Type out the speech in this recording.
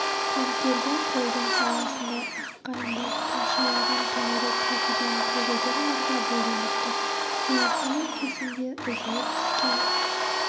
көмкерген қолдың саласындай аққайыңдар тұмшалаған төңірек кілкіген көгілдір нұрға бөленіп тұр сарыарқаның төсінде үзіліп түскен